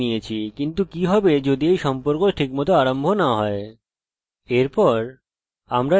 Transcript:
আমরা সম্পর্ক বানিয়ে নিয়েছি কিন্তু কি হবে যদি এই সম্পর্ক ঠিকমত আরম্ভ না হয়